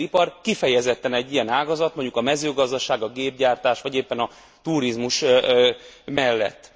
A textilipar kifejezetten egy ilyen ágazat, mondjuk a mezőgazdaság, a gépgyártás vagy éppen a turizmus mellett.